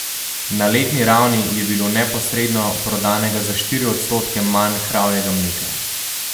Na letni ravni je bilo neposredno prodanega za štiri odstotke manj kravjega mleka.